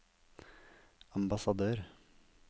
ambassadør